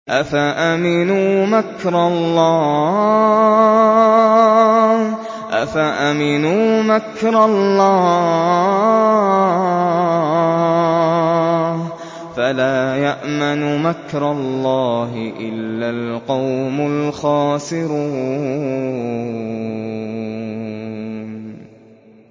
أَفَأَمِنُوا مَكْرَ اللَّهِ ۚ فَلَا يَأْمَنُ مَكْرَ اللَّهِ إِلَّا الْقَوْمُ الْخَاسِرُونَ